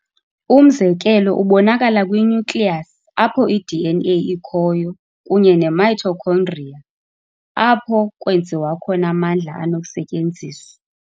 Umzekelo ubonakala kwi-nucleus, apho i-DNA ikhoyo, kunye ne-mitochondria, apho kwenziwa khona amandla anokusetyenziswa.